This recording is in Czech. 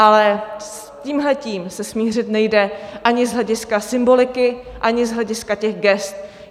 Ale s tímhle se smířit nejde ani z hlediska symboliky, ani z hlediska těch gest.